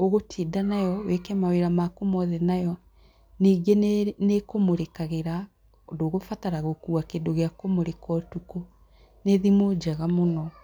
ũgũtinda nayo, wĩke mawĩra maku mothe nayo, ningĩ nĩ kũmũrĩkagĩra ndũgũbatara gũkua kĩndũ gĩa kũmũrĩka ũtukũ, nĩ thimũ njega mũno.